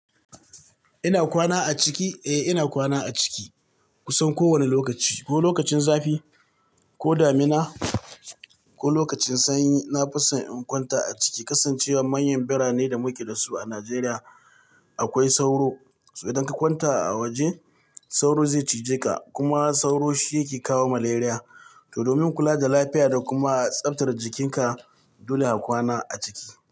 Ina kwana a ciki? Eh ina kwana a ciki kusan kowane lokaci. Ko lokacin zafi, ko damina, ko lokacin sanyi. Na fi son in kwanta a ciki. Kasancewar manyan birane da muke dasu a Najeriya akwai sauro. Sai idan ka kwanta a waje sauro zai cije ka. Kuma sauro shi yake kawo maleriya To domin kula da lafiya da kuma tsaftar jikinka dole a kwana a ciki.